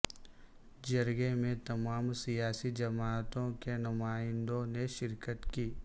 جرگے میں تمام سیاسی جماعتوں کے نمائندوں نے شرکت کی